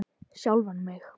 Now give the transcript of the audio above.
Sjálfan mig?